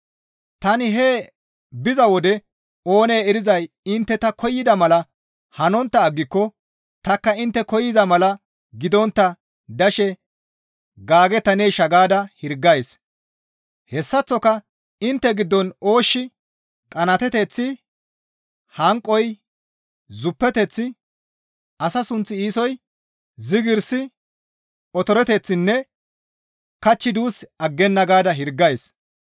Tani hee biza wode oonee erizay intte ta koyida mala hanontta aggiko tanikka intte koyza mala gidontta dashe gaagettaneesha gaada hirgays; hessaththoka intte giddon ooshshi, qanaateteththi, hanqoy, zuppeteththi, asa sunth iisoy, zigirsi, otoreteththinne kachchi duus aggenna gaada hirgays.